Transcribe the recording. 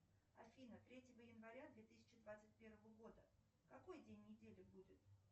афина третьего января две тысячи двадцать первого года какой день недели будет